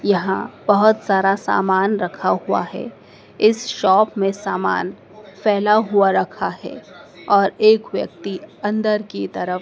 यहां बहोत सारा सामान रखा हुआ है इस शॉप में सामान फैला हुआ रखा है और एक व्यक्ति अंदर की तरफ--